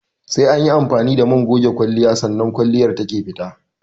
Sai anyi amfani da man goge kwalliya sannan kwalliyar take fita